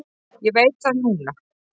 Ég veit það núna.